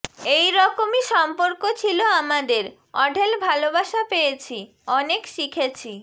এই রকমই সম্পর্ক ছিল আমাদের অঢেল ভালোবাসা পেয়েছি অনেক শিখেছি